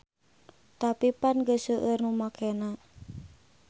Tapi pan geus seueur nu makena.